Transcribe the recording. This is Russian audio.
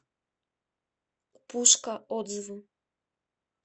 пушка отзывы